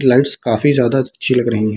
Lights काफी ज्यादा अच्छी लग रही हैं।